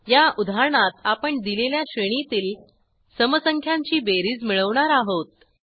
या उदाहरणात आपण दिलेल्या श्रेणीतील समसंख्यांची बेरीज मिळवणार आहोत